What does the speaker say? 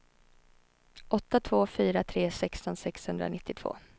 åtta två fyra tre sexton sexhundranittiotvå